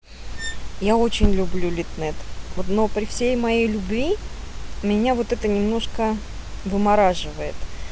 я очень люблю литнет но при всей моей любви меня вот это немножко вымораживает